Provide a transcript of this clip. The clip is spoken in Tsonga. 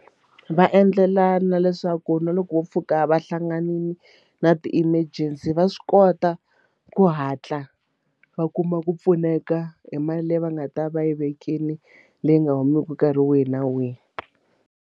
Va endlela na leswaku na loko wo pfuka va hlanganile na ti-emergency va swi kota ku hatla va kuma ku pfuneka hi mali leyi va nga ta va yi vekile leyi nga humiki nkarhi wihi na wihi.